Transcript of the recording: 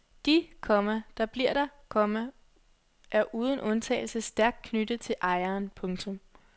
De, komma der bliver der, komma er uden undtagelse stærkt knyttet til ejeren. punktum